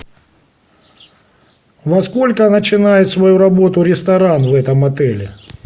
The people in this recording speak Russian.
во сколько начинает свою работу ресторан в этом отеле